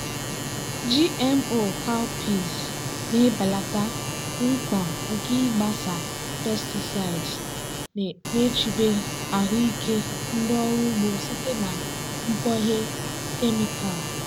gmo cowpeas na-ebelata mkpa nke ịgbasa pesticides na-echebe ahụike ndị ọrụ ugbo site na mkpughe kemịkal.